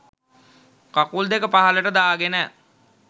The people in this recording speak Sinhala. කකුල් දෙක පහළට දාගෙන